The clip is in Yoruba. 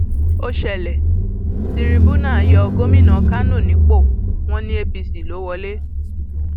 ó ṣẹlẹ um tìrìbùnà yọ gómìnà kánò nípò wọn um ní apc ló wọlé